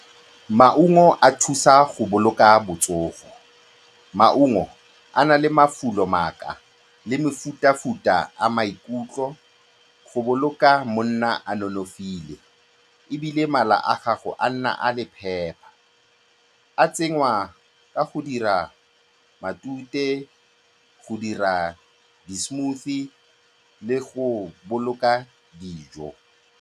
Maungo a thusa go boloka botsogo, maungo a na le mafulo le mefuta-futa a maikutlo go boloka monna a nonofile, ebile mala a gago a nna a le phepa. A tsenngwa ka go dira matute, go dira di-smoothie le go boloka dijo.